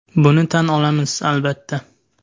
Buni tan olamiz, albatta.